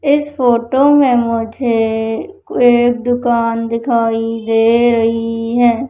इस फोटो में मुझे एक दुकान दिखाई दे रही है।